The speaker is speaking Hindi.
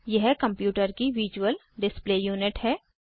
यह कंप्यूटर की विजुअल डिस्प्ले यूनिट है